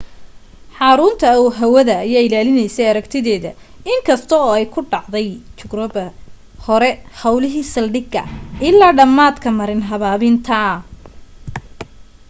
xarrunta hawadda ayaa ilaalinaysay aragtideeda in kasta oo ay ku dhacday gryocope hore hawlihii saldhiga ilaa dhammaadka marin habaabinta